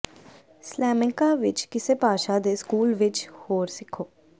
Salamanca ਵਿੱਚ ਕਿਸੇ ਭਾਸ਼ਾ ਦੇ ਸਕੂਲ ਵਿੱਚ ਹੋਰ ਸਿੱਖੋ